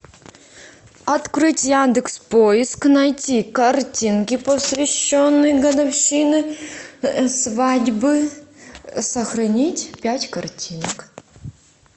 открыть яндекс поиск найти картинки посвященные годовщине свадьбы сохранить пять картинок